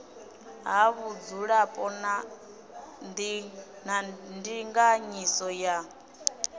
ha vhudzulapo na ndinganyiso ya